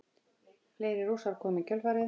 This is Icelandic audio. Fleiri Rússar komu í kjölfarið.